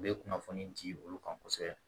U bɛ kunnafoni di olu kan kosɛbɛ